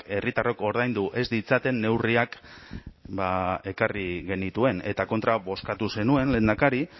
herritarrok ordaindu ez ditzaten neurriak ekarri genituen eta kontra bozkatu zenuen lehendakari